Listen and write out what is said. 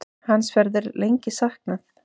Hans verður lengi saknað.